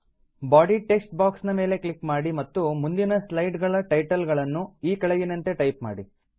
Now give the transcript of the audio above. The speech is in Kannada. ಬಾಡಿ ಟೆಕ್ಸ್ಟ್ ಬಾಕ್ಸ್ ನ ಮೇಲೆ ಕ್ಲಿಕ್ ಮಾಡಿ ಮತ್ತು ಮುಂದಿನ ಸ್ಲೈಡ್ ಗಳ ಟೈಟಲ್ ಗಳನ್ನು ಈ ಕೆಳಗಿನಂತೆ ಟೈಪ್ ಮಾಡಿ